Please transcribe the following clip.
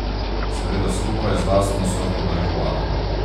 Seveda skupaj z lastno sorto marihuane.